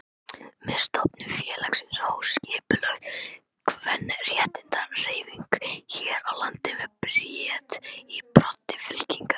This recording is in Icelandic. Með stofnun félagsins hófst skipulögð kvenréttindahreyfing hér á landi með Bríeti í broddi fylkingar.